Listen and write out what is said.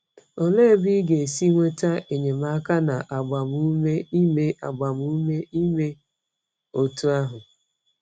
Olee ebe ị ga-esi nweta enyemaka na agbamume ime agbamume ime otú ahụ?